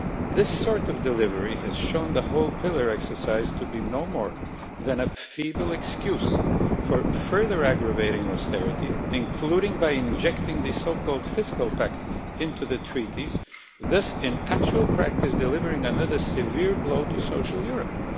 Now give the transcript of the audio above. This sort of delivery has shown the whole Pillar exercise to be no more than a feeble excuse for further aggravating austerity, including by injecting the so called fiscal pact into the Treaties, thus in actual practice delivering another severe blow to social Europe.